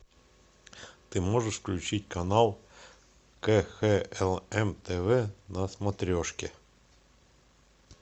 ты можешь включить канал кхлм тв на смотрешке